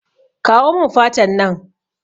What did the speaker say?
Kawo mun fatan nan